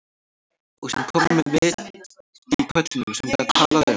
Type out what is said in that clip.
Og sem kona með vit í kollinum, sem get talað um